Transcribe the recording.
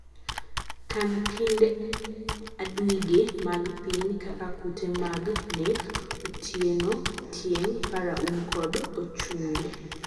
kan kind aduige mag piny kaka kute magnek , otienotieng, paraum kod ochunge.